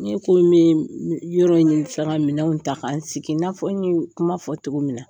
Ne kun bɛ min yɔrɔ in sara ka minɛn ta k'an sigi n'a fɔ n y'o kuma fɔ cogo min na.